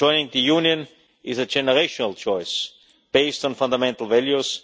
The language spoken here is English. Balkans. Joining the EU is a generational choice based on fundamental